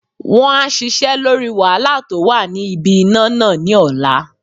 Won á sisẹ́ lórí wàhálà tó wà ní ibi iná nà ní ọ̀la